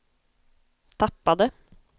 tappade